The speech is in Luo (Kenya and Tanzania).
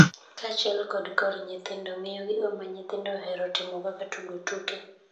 kaachiel kod kor nyithindo, ngiyo gigo ma nyithindo ohero timo kaka tugo tuke,